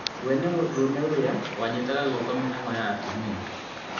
We nĩ mũndũrũme ũrĩa wanyitaga gũoko mĩhang'o ya atumia